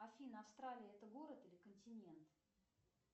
афина австралия это город или континент